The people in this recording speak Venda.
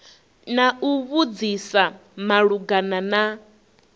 na u vhudzisa malugana na